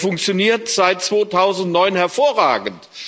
Er funktioniert seit 2009 hervorragend.